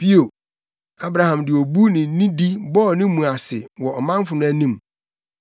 Bio Abraham de obu ne nidi bɔɔ ne mu ase wɔ ɔmanfo no anim,